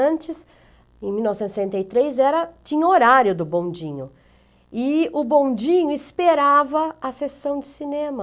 Antes, em mil novecentos e sessenta e três, era, tinha horário do bondinho e o bondinho esperava a sessão de cinema.